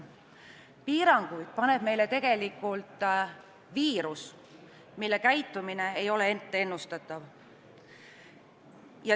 Piiranguid paneb meile tegelikult viirus, mille käitumine ei ole etteennustatav.